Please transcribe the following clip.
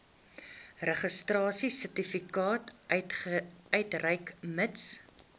registrasiesertifikaat uitreik mits